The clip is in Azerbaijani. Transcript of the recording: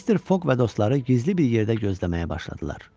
Mister Foq və dostları gizli bir yerdə gözləməyə başladılar.